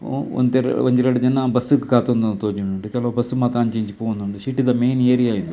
ಒಂತೆ ಒಂಜಿ ರಡ್ಡ್ ಜನ ಬಸ್ಸ್ ಕು ಕಾತೊಂದು ತೋಜೊಂದುಂಡು ಕೆಲವು ಬಸ್ಸ್ ಮಾತ ಅಂಚಿ ಇಂಚಿ ಪೋವೊಂದುಂಡು ಸಿಟಿ ತ ಮೈನ್ ಏರಿಯ ಇಂದು.